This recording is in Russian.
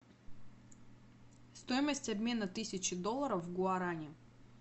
стоимость обмена тысячи долларов в гуарани